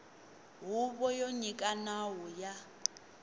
huvo yo nyika nawu ya